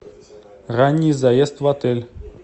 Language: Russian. ранний заезд в отель